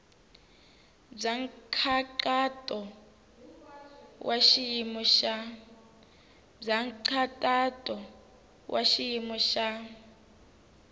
bya nkhaqato wa xiyimo xa